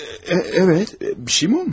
Hə, bəli, bir şey olub?